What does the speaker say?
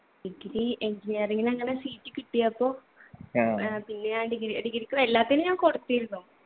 degree engineering ന് അങ്ങനെ seat കിട്ടിയപ്പൊ പിന്നെ ഞാൻ degree degree ക്ക് എല്ലാത്തിനും ഞാൻ കൊടുത്തിരുന്നു.